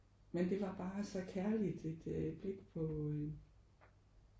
Men det var bare så kærligt et blik på øh